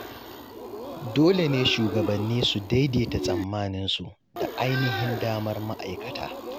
Dole ne shugabanni su daidaita tsammaninsu da ainihin damar ma’aikata.